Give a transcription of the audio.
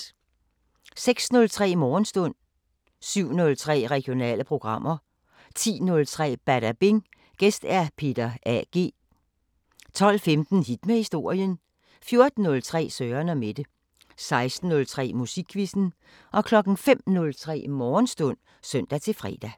06:03: Morgenstund 07:03: Regionale programmer 10:03: Badabing: Gæst Peter A.G. 12:15: Hit med historien 14:03: Søren & Mette 16:03: Musikquizzen 05:03: Morgenstund (søn-fre)